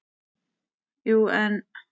Jú, en.